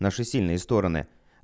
наши сильные стороны